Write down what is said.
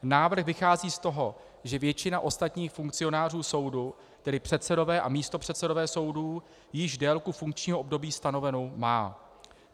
Návrh vychází z toho, že většina ostatních funkcionářů soudu, tedy předsedové a místopředsedové soudů, již délku funkčního období stanovenou má.